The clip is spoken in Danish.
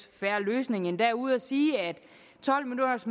fair løsning endda ude at sige at tolv minutters